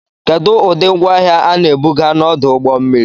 Kedu ụdị ngwaahịa a na-ebuga n'ọdụ ụgbọ mmiri